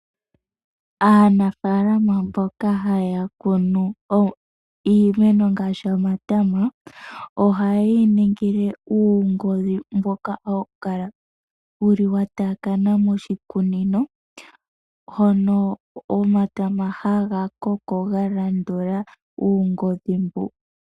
Aanafaalama mboka haya kunu iimeno ngaashi omatama oha yeyi ningile uungodhi mboka hawu kala wuli wa taakana moshikunino hono omatama haga koko ga landula uungodhi mbu